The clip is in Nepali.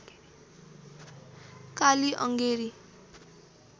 काली अङ्गेरी